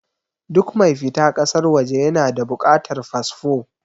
Duk mai fita ƙasar waje ya na da buƙatar fasfo.